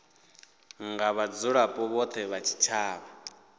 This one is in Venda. nga vhadzulapo vhothe vha tshitshavha